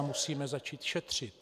A musíme začít šetřit.